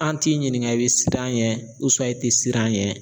An t'i ɲiniŋa i be siran ɲɛ i te siran ɲɛ